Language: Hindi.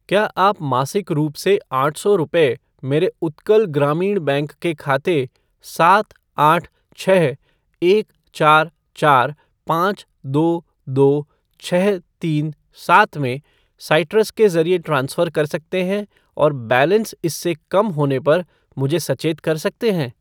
क्या आप मासिक रूप से आठ सौ रुपये मेरे उत्कल ग्रामीण बैंक के खाते सात आठ छः एक चार चार पाँच दो दो छः तीन सात में साइट्रस के ज़रिए ट्रांसफ़र कर सकते हैं और बैलेंस इससे कम होने पर मुझे सचेत कर सकते हैं?